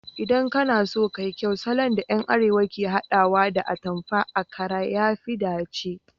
Idan kana so ka yi kyau, salon da yan arewa ke hadawa da atamfan akara ya fi dace